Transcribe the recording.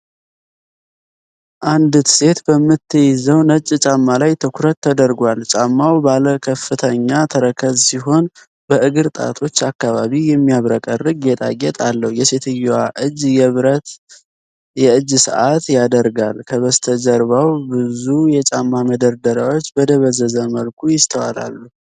አንዲት ሴት በምትይዘው ነጭ ጫማ ላይ ትኩረት ተደርጓል። ጫማው ባለከፍተኛ ተረከዝ ሲሆን፣ በእግር ጣቶች አካባቢ የሚያብረቀርቅ ጌጣጌጥ አለው። የሴትየዋ እጅ የብር የእጅ ሰዓት ያደርጋል። ከበስተጀርባ ብዙ የጫማ መደርደሪያዎች በደበዘዘ መልኩ ይስተዋላሉ።